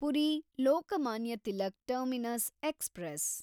Puri Lokmanya Tilak terminus express